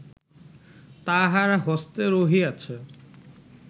তাঁহার হস্তে রহিয়াছে